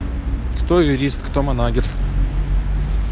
кто юрист кто манагер